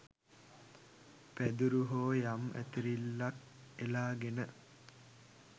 පැදුරු හෝ යම් ඇතිරිල්ලක් එලාගෙන